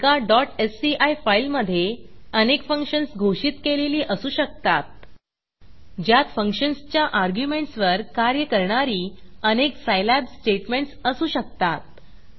एका sci फाईलमधे अनेक फंक्शन्स घोषित केलेली असू शकतात ज्यात फंक्शन्सच्या अर्ग्युमेंटसवर कार्य करणारी अनेक सायलॅब स्टेटमेंटस असू शकतात